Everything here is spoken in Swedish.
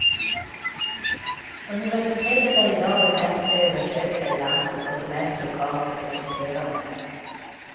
Universitetet är i dag det mest översökta i landet och det mest lokalt rekryterande.